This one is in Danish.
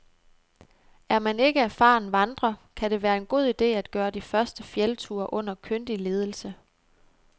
Er man ikke erfaren vandrer, kan det være en god ide at gøre de første fjeldture under kyndig ledelse.